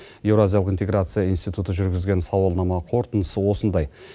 еуразиялық интеграция институты жүргізген сауалнама қорытындысы осындай